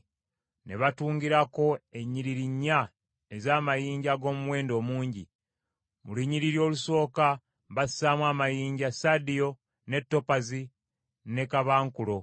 Ne batungirako ennyiriri nnya ez’amayinja ag’omuwendo omungi. Mu lunyiriri olusooka bassaamu amayinja: sadiyo, ne topazi, ne kaabankulo;